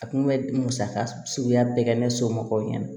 A kun bɛ musaka suguya bɛɛ kɛ ne somɔgɔw ɲɛna